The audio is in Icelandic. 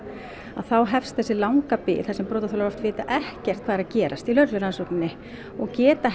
þá hefst þessi langa bið þar sem brotaþolar oft vita ekkert hvað er að gerast í lögreglurannsókninni og geta